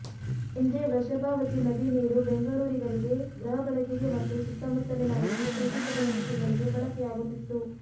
ಹಿಂದೆ ವೃಷಭಾವತಿ ನದಿ ನೀರು ಬೆಂಗಳೂರಿಗರಿಗೆ ಗೃಹ ಬಳಕೆಗೆ ಮತ್ತು ಸುತ್ತಮುತ್ತಲಿನವರಿಗೆ ಕೃಷಿ ಚಟುವಟಿಕೆಗಳಿಗೆ ಬಳಕೆಯಾಗುತ್ತಿತ್ತು